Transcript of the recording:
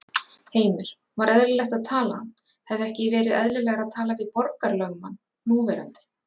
Heimir: Var eðlilegt að tala hann, hefði ekki verið eðlilegra að tala við borgarlögmann núverandi?